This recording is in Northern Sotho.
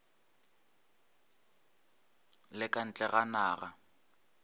le ka ntle ga naga